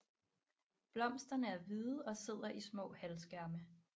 Blomsterne er hvide og sidder i små halvskærme